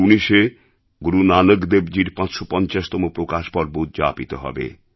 ২০১৯এ গুরু নানকদেবজীর ৫৫০তম প্রকাশ পর্ব উদ্যাপিত হবে